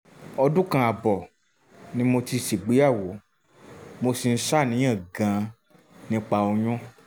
ọdún kan ààbọ̀ ni mo ti ṣègbéyàwó mo sì ń ṣàníyàn gan-an nípa oyún